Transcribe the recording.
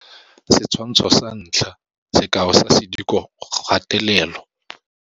Setshwantsho sa 1. Sekao sa sedikogatelelo.